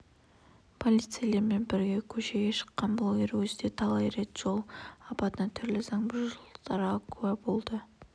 полицейлермен бірге көшеге шыққан блогер өзі де талай рет жол апатына түрлі заң бұзушылықтарға куә болыпты